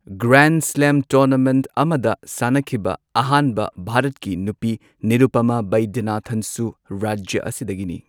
Grand slam tournament ꯑꯃꯗ ꯁꯥꯟꯅꯈꯤꯕ ꯑꯍꯥꯟꯕ ꯚꯥꯔꯠꯀꯤ ꯅꯨꯄꯤ, ꯅꯤꯔꯨꯄꯃꯥ ꯕꯩꯗ꯭ꯌꯅꯥꯊꯟꯁꯨ ꯔꯥꯖ꯭ꯌ ꯑꯁꯤꯗꯒꯤꯅꯤ꯫